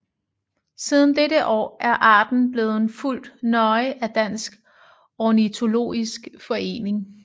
Siden dette år er arten blevet fulgt nøje af Dansk Ornitologisk Forening